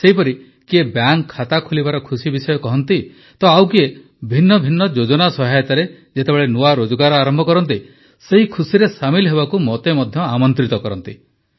ସେହିପରି କିଏ ବ୍ୟାଙ୍କ୍ ଖାତା ଖୋଲିବାର ଖୁସି ବିଷୟ କହନ୍ତି ତ ଆଉ କିଏ ଭିନ୍ନଭିନ୍ନ ଯୋଜନା ସହାୟତାରେ ଯେତେବେଳେ ନୂଆ ରୋଜଗାର ଆରମ୍ଭ କରନ୍ତି ସେହି ଖୁସିରେ ସାମିଲ୍ ହେବାକୁ ମୋତେ ମଧ୍ୟ ଆମନ୍ତ୍ରିତ କରନ୍ତି